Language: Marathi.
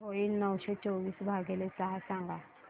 किती होईल नऊशे चोवीस भागीले सहा सांगा